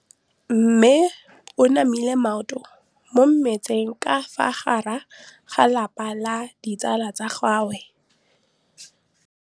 Mme o namile maoto mo mmetseng ka fa gare ga lelapa le ditsala tsa gagwe.